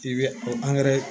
I bɛ o